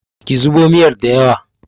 ki zubo miyar da yawa!